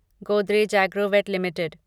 Godrej Agrovet limited